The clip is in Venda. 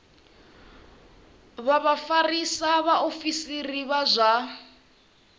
vha vhafarisa vhaofisiri vha zwa